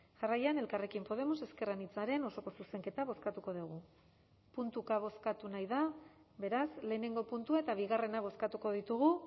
jarraian elkarrekin podemos ezker anitzaren osoko zuzenketa bozkatuko dugu puntuka bozkatu nahi da beraz lehenengo puntua eta bigarrena bozkatuko ditugu